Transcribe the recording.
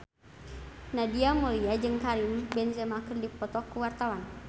Nadia Mulya jeung Karim Benzema keur dipoto ku wartawan